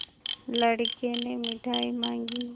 लड़के ने मिठाई मॉँगी